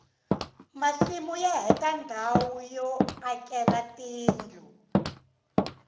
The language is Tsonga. masimu ya heta ndhawu yo akela tindlu